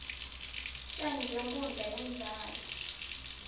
tjani benkhundla yemdlalo